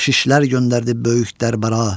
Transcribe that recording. Baxşişlər göndərdi böyük daraya.